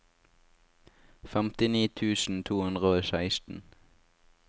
femtini tusen to hundre og seksten